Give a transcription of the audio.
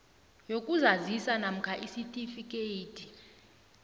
yokuzazisa namkha isitifikhethi